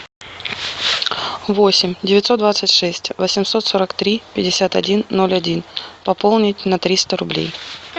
восемь девятьсот двадцать шесть восемьсот сорок три пятьдесят один ноль один пополнить на триста рублей